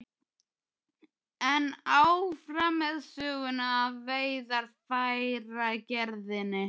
En áfram með söguna af veiðarfæragerðinni.